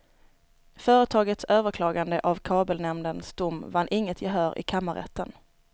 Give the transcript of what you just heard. Företagets överklagande av kabelnämndens dom vann inget gehör i kammarrätten.